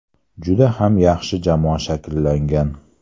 Juda ham yaxshi jamoa shakllangan.